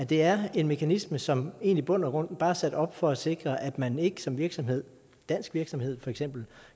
det er en mekanisme som i bund og grund bare er sat op for at sikre at man ikke som virksomhed dansk virksomhed for eksempel